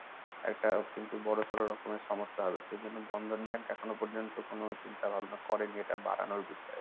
একটা কিন্তু বড়সড়ো রকমের সমস্যা হবে। সেজন্য Bandhan bank এখনো পর্যন্ত কোনো চিন্তাভাবনা করেনি এটা বাড়ানোর বিষয়ে।